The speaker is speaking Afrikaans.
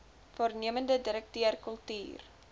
waarnemende direkteur kultuur